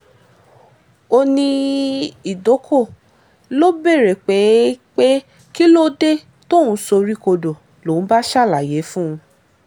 ó ní ìdọ̀kọ ló béèrè pé pé kí ló dé tóun soríkodò lòun bá ṣàlàyé fún un